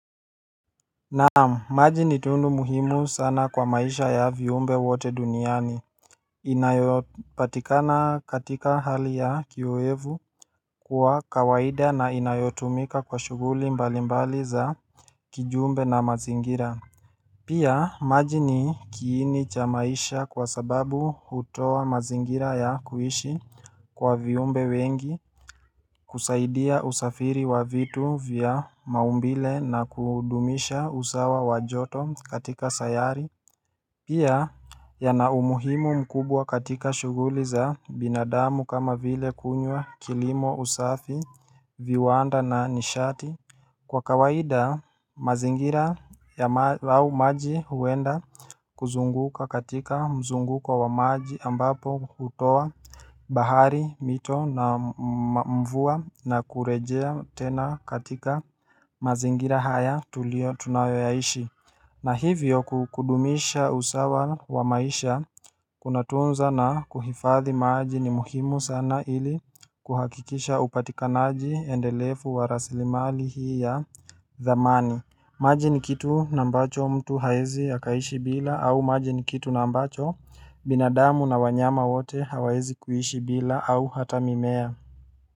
Naam, maji ni tundu muhimu sana kwa maisha ya viumbe wote duniani, inayopatikana katika hali ya kiyoevu kuwa kawaida na inayotumika kwa shuguli mbali mbali za kijumbe na mazingira. Pia maji ni kiini chamaisha kwa sababu utoa mazingira ya kuishi kwa viumbe wengi kusaidia usafiri wa vitu vya maumbile na kudumisha usawa wajoto katika sayari Pia ya na umuhimu mkubwa katika shuguli za binadamu kama vile kunywa kilimo usafi viwanda na nishati Kwa kawaida mazingira ya lao maji huenda kuzunguka katika mzunguko wa maji ambapo kutoa bahari mito na mvua na kurejea tena katika mazingira haya tulio tunayoyaishi na hivyo kukudumisha usawa wa maisha kuna tunza na kuhifadhi maji ni muhimu sana ili kuhakikisha upatikanaji endelefu wa raslimali hii ya zamani. Maji ni kitu nambacho mtu haezi hakaishi bila au maji ni kitu nambacho binadamu na wanyama wote hawaezi kuishi bila au hata mimea.